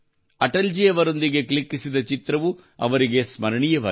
ಅಟಲ್ ಜೀ ಅವರೊಂದಿಗೆ ಕ್ಲಿಕ್ಕಿಸಿದ ಚಿತ್ರವು ಅವರಿಗೆ ಸ್ಮರಣೀಯವಾಗಿದೆ